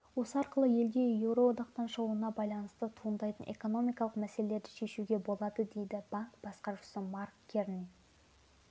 осы арқылы елде еуроодақтан шығуына байланысты туындайтын экономикалық мәселелерді шешуге болады дейді банк басқарушысы марк керни